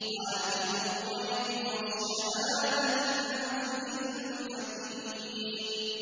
عَالِمُ الْغَيْبِ وَالشَّهَادَةِ الْعَزِيزُ الْحَكِيمُ